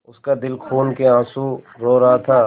उसका दिल खून केआँसू रो रहा था